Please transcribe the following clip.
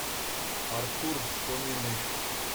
артур фоминых